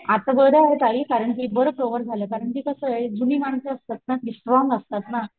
आता बर आहे ताई कारण कि बर कव्हर झालं कारण कि कस जुनी मानस असतात ना ती स्ट्रॉंग असतात ना.